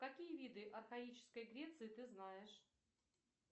какие виды архаической греции ты знаешь